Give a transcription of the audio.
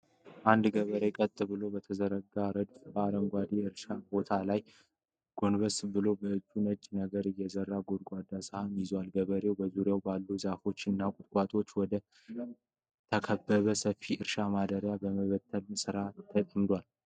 አንድ ገበሬ ቀጥ ብለው በተዘረጉ ረድፎች በአረንጓዴ የእርሻ ቦታ ላይ ጎንበስ ብሎ፤ በእጁ ነጭ ነገር የያዘ ጎድጓዳ ሳህን ይዟል። ገበሬው በዙሪያው ባሉ ዛፎች እና ቁጥቋጦዎች ወደተከበበ ሰፊ እርሻ ማዳበሪያ በመበተን ሥራ ተጠምዷል።